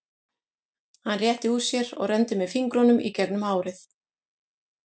Hann rétti úr sér og renndi með fingrunum í gegnum hárið.